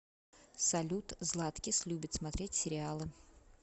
салют златкис любит смотреть сериалы